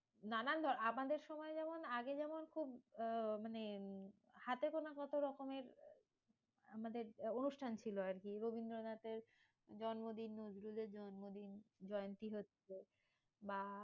নানান আমাদের সময় যেমন আগে যেমন খুব আহ মানে হাতে গোনা মতো রকমের আমাদের অনুষ্ঠান ছিল আরকি। রবীন্দ্রনাথের জন্মদিন। নজরুলের জন্মদিন জয়ন্তী হচ্ছে। বা